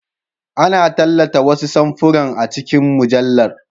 Ana tallata wasu samfuran a cikin mujallar.